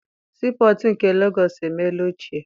Sii pọtụ nke Legọọsị emeela ochie.